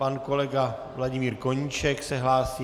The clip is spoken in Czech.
Pan kolega Vladimír Koníček se hlásí.